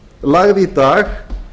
lagði í dag